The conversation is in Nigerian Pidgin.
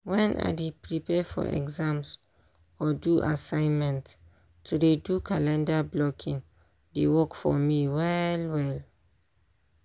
wen i dey prepare for exams or do assignment to dey do calendar blocking dey work for me well well.